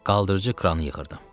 Qaldırıcı kranı yığırdım.